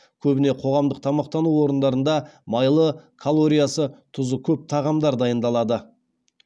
көбіне қоғамдық тамақтану орындарында майлы калориясы тұзы көп тағамдар дайындалады